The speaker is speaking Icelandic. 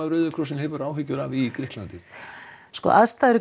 Rauða krossinum áhyggjur af í Grikklandi sko aðstæður